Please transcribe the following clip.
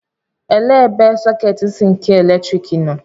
Elee ebe sọketi isi nke eletriki nọ?